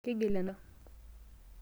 Keigil enashan asha.